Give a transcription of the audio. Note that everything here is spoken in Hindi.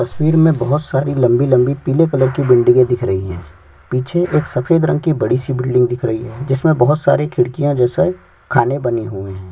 तस्वीर में बहोत सारी लम्बी लम्बी पीले कलर की बिल्डिंग दिख रही है पीछे एक सफ़ेद रंग की बड़ी सी बिल्डिंग दिख रही है जिसमे बहोत सारे खिड़िकयाँ जैसे खाने बने हुए है।